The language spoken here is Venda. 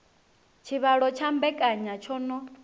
tshivhalo tsha mbekanya tsho no